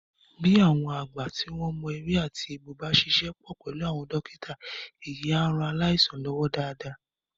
Bí àwọn àgbà tó mọ ewé àti egbò bá ṣíṣe pọ̀ pẹ̀lú àwọn dọ́kítà èyí a rán aláìsàn lọ́wọ́ dáadáa